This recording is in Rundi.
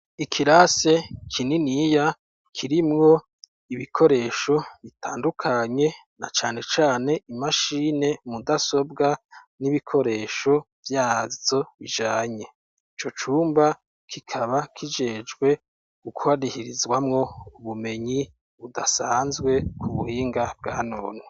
Ikirase kininiya kirimwo ibikoresho bitandukanye, na cane cane imashine mudasobwa n'ibikoresho vyazo bijanye. Ico cumba kikaba kijejwe gukarihirizwamwo ubumenyi budasanzwe ku buhinga bwa none.